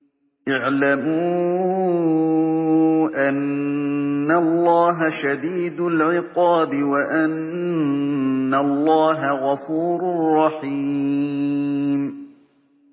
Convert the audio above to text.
اعْلَمُوا أَنَّ اللَّهَ شَدِيدُ الْعِقَابِ وَأَنَّ اللَّهَ غَفُورٌ رَّحِيمٌ